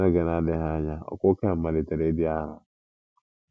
N’oge na-adịghị ányà ụkwụ Ken malitere ịdị arọ